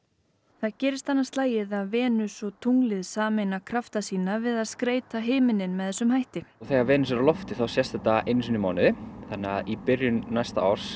það gerist annað slagið að Venus og tunglið sameina krafta sína við að skreyta himininn með þessum hætti þegar Venus á lofti sést þetta einu sinni í mánuði þannig að í byrjun næsta árs